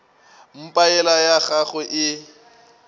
mpa yela ya gagwe e